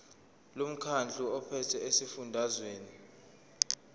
lomkhandlu ophethe esifundazweni